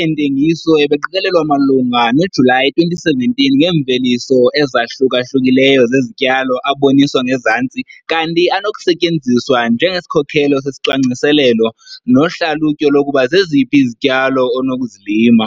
eentengiso ebeqikelelwe malunga noJulayi 2017 ngeemveliso ezahluka-hlukileyo zezityalo aboniswa ngezantsi kanti anokusetyenziswa njengesikhokelo sesicwangciselelo nohlalutyo lokuba zeziphi izityalo onokuzilima.